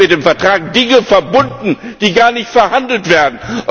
Hier werden mit dem Vertrag Dinge verbunden, die gar nicht verhandelt werden!